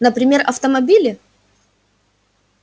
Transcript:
например автомобили